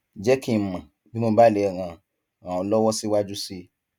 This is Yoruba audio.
jẹ kí n mọ bí mo bá lè ràn ràn ọ lọwọ síwájú sí i